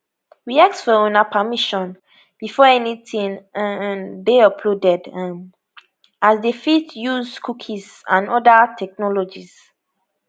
we ask for una permission before anytin um dey loaded um as dem fit dey use cookies and oda technologies